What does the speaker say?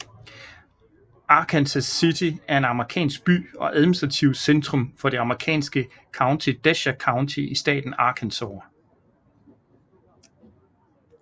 Arkansas City er en amerikansk by og administrativt centrum for det amerikanske county Desha County i staten Arkansas